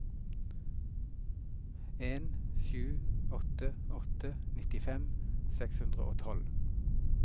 en sju åtte åtte nittifem seks hundre og tolv